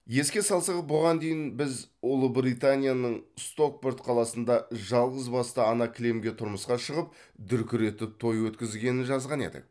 еске салсақ бұған дейін біз ұлыбританияның стокпорт қаласында жалғызбасты ана кілемге тұрмысқа шығып дүркіретіп той өткізгенін жазған едік